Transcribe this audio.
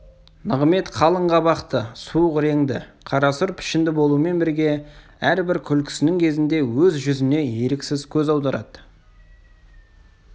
нығымет қалың қабақты суық реңді қарасұр пішінді болумен бірге әрбір күлкісінің кезінде өз жүзіне еріксіз көз аударады